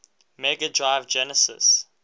mega drive genesis